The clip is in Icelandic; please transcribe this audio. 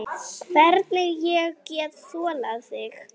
Hvernig ég get þolað þig?